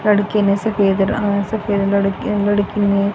लड़के ने सफेद रंग सफ़ेद लड़के लड़कीने--